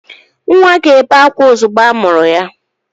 Nwa ga-ebe ákwá ozugbo amụrụ ya.